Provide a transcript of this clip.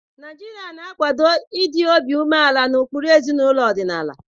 Naijiria na-akwado ịdị obi umeala na ụkpụrụ ezinaụlọ ọdịnala.